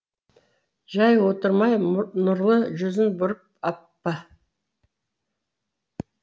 жай отырмай нұрлы жүзін бұрып аппа